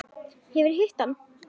Hefurðu hitt hann?